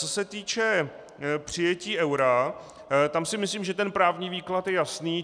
Co se týče přijetí eura, tam si myslím, že ten právní výklad je jasný.